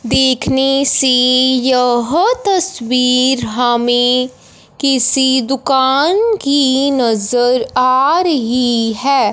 देखने से यह तस्वीर हमें किसी दुकान की नज़र आ रही है।